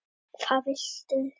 Á henni eru ýmsar táknmyndir.